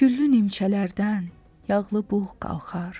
Güllü nimçələrdən yağlı buğ qalxar.